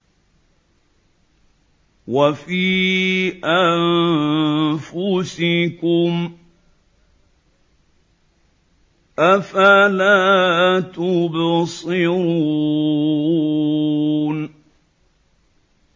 وَفِي أَنفُسِكُمْ ۚ أَفَلَا تُبْصِرُونَ